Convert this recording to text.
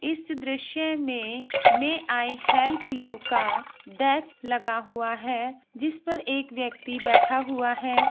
इस दृश्य में मे आई हेल्प यू का डेक लगा हुआ है| जिस पर एक व्यक्ति बैठा हुआ है।